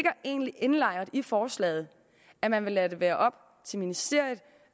er egentlig indlejret i forslaget at man vil lade det være op til ministeriet